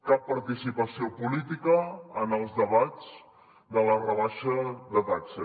cap participació política en els debats de la rebaixa de taxes